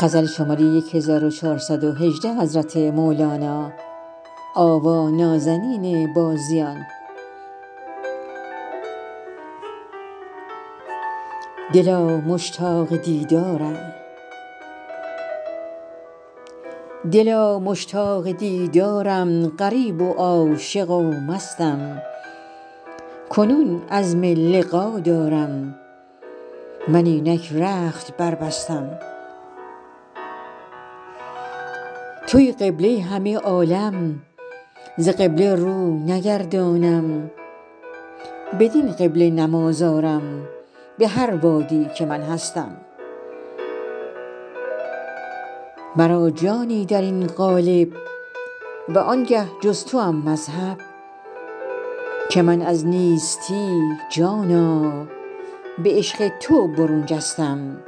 دلا مشتاق دیدارم غریب و عاشق و مستم کنون عزم لقا دارم من اینک رخت بربستم توی قبله همه عالم ز قبله رو نگردانم بدین قبله نماز آرم به هر وادی که من هستم مرا جانی در این قالب وانگه جز توم مذهب که من از نیستی جانا به عشق تو برون جستم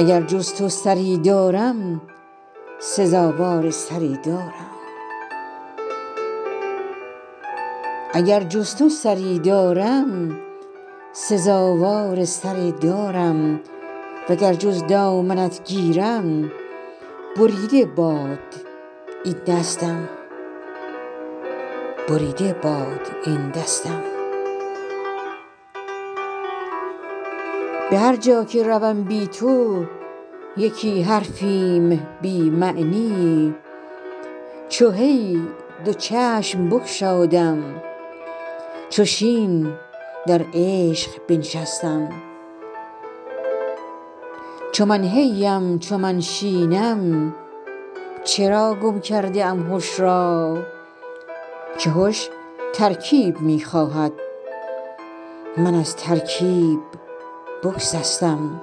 اگر جز تو سری دارم سزاوار سر دارم وگر جز دامنت گیرم بریده باد این دستم به هر جا که روم بی تو یکی حرفیم بی معنی چو هی دو چشم بگشادم چو شین در عشق بنشستم چو من هی ام چو من شینم چرا گم کرده ام هش را که هش ترکیب می خواهد من از ترکیب بگسستم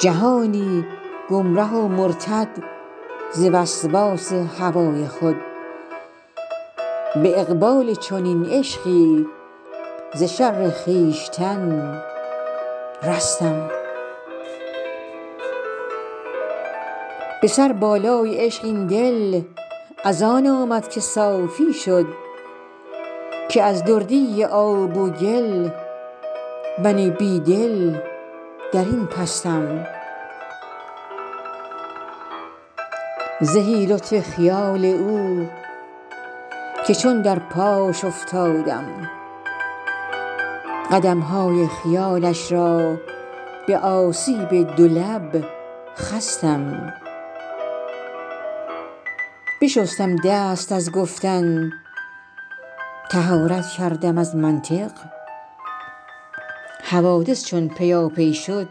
جهانی گمره و مرتد ز وسواس هوای خود به اقبال چنین عشقی ز شر خویشتن رستم به سربالای عشق این دل از آن آمد که صافی شد که از دردی آب و گل من بی دل در این پستم زهی لطف خیال او که چون در پاش افتادم قدم های خیالش را به آسیب دو لب خستم بشستم دست از گفتن طهارت کردم از منطق حوادث چون پیاپی شد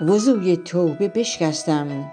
وضوی توبه بشکستم